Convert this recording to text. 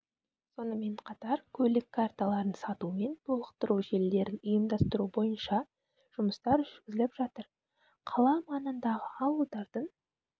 сонымен қатар көлік карталарын сату мен толықтыру желілерін ұйымдастыру бойынша жұмыстар жүргізіліп жатыр қала маңындағы ауылдардың